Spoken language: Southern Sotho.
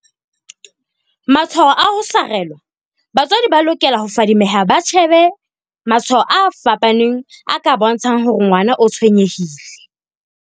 Matshwao a ho sarelwa Batswadi ba lokela ho fadi meha ba shebe matshwao a fapaneng a ka bontsha ng hore ngwana o tshwenye hile.